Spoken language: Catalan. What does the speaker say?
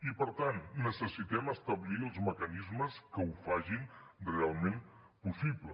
i per tant necessitem establir els mecanismes que ho facin realment possible